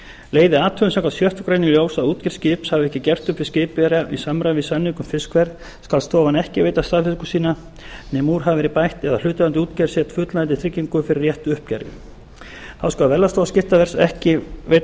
leiði athugun samkvæmt sjöttu grein í ljós að útgerð skips hafi ekki gert upp við skipverja í samræmi við samning um fiskverð skal stofan ekki veita staðfestingu sína nema úr hafi verið bætt eða hlutaðeigandi útgerð sett fullnægjandi tryggingu fyrir réttu uppgjöri þá skal verðlagsstofa skiptaverðs ekki veita